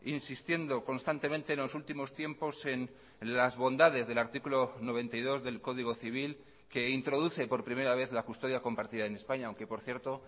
insistiendo constantemente en los últimos tiempos en las bondades del artículo noventa y dos del código civil que introduce por primera vez la custodia compartida en españa aunque por cierto